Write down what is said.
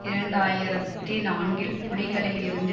இரண்டு ஆயிரத்தி நான்கில் புலிகளில் இருந்து